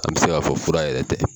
An bɛ se ka fɔ fura yɛrɛ tɛ.